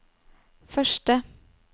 første